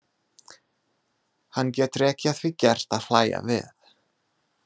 Hann getur ekki að því gert að hlæja við.